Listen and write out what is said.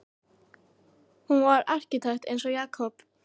Hann var arkitekt eins og Jakob.